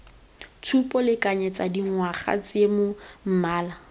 tshupo lekanyetsa dingwaga seemo mmala